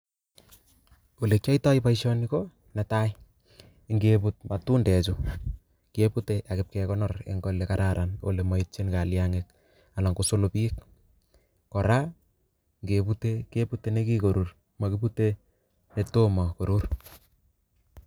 Olekiatoi boishoni netai ngeput matundeju kebute atyo pkinde ale kararan ole maitchin kalyang'ik anan kosolobik kora ngepute gepute nekikurur makipute netomo korur